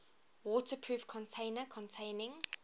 waterproof container containing